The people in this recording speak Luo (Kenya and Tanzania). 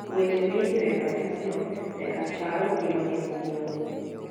weche mi indiko e kalatasno nyaka chal gi mane bug nyuol